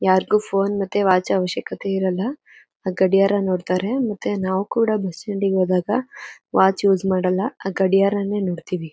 ಯಾರಿಗೂ ಫೋನ್ ಮತ್ತೆ ವಾಚ್ ಅವಶ್ಯಕತೆ ಇರಲ್ಲ. ಗಡಿಯಾರ ನೋಡ್ತಾರೆ ಮತ್ತೆ ನಾವ್ ಕೂಡ ಬಸ್ ಸ್ಟಾಂಡ್ ಗೆ ಹೋದಾಗ ವಾಚ್ ಯೂಸ್ ಮಾಡಲ್ಲ. ಆ ಗಡಿಯಾರನೇ ನೋಡ್ತಿವಿ.